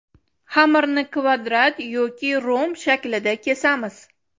Xamirni kvadrat yoki romb shaklida kesamiz.